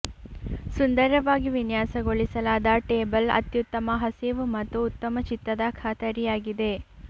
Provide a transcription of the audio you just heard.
ಸುಂದರವಾಗಿ ವಿನ್ಯಾಸಗೊಳಿಸಲಾದ ಟೇಬಲ್ ಅತ್ಯುತ್ತಮ ಹಸಿವು ಮತ್ತು ಉತ್ತಮ ಚಿತ್ತದ ಖಾತರಿಯಾಗಿದೆ